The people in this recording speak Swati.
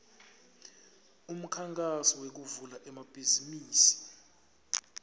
umkhankaso wekuvula emabhizimisi